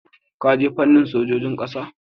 Ka je fannin sojojin ƙasa?